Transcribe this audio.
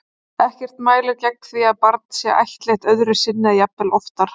Ekkert mælir gegn því að barn sé ættleitt öðru sinni eða jafnvel oftar.